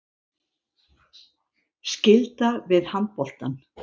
Skylda við handboltann